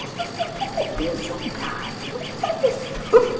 Gostoso está está um pouquinho salgado, mas está gostoso.